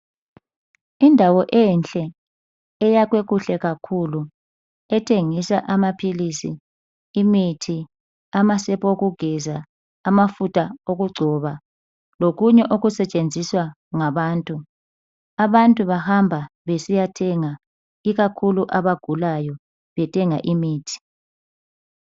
Indawo enhle eyakhwe kuhle kakhulu ethengisa amaphilisi, imithi, amasepa okugeza, amafutha okugcoba lokunye okutshenziswa ngabantu. Abantu bahamba besiyathenga ikakhulu abagulayo bethenga imithi